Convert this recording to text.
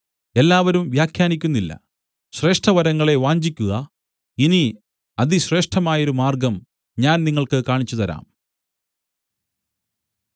എല്ലാവരും വ്യാഖ്യാനിക്കുന്നില്ല ശ്രേഷ്ഠവരങ്ങളെ വാഞ്ചിക്കുക ഇനി അതിശ്രേഷ്ഠമായൊരു മാർഗ്ഗം ഞാൻ നിങ്ങൾക്ക് കാണിച്ചുതരാം